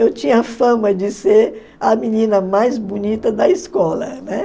Eu tinha a fama de ser a menina mais bonita da escola, né?